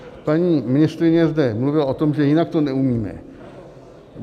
Paní ministryně zde mluvila o tom, že jinak to neumíme.